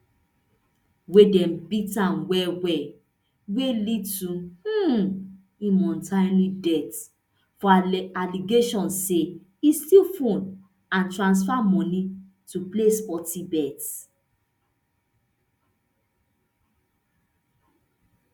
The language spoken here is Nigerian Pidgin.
wey dem beat am well well wey lead to um im untimely death for allegations say e steal phone and transfer money to play sporty bet